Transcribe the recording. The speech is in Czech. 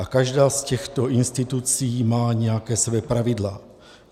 A každá z těchto institucí má nějaká svá pravidla.